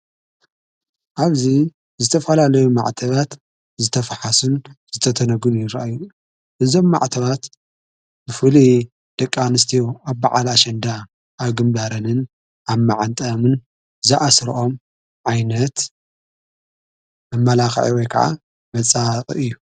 ኣብዙ ዝተፋላለዩ ማዕተባት ዝተፍሓስን ዝተተነጉን ይረ እዩ እዞም ማዕተባት ብፉል ደቃንስቲዩ ኣብብዓላ ኣሸንዳ ኣግምዳረንን ኣብ ማዓንጠአምን ዝኣሥርኦም ዓይነት ኣመላኽዒወ ከዓ መጻቕ እዩ።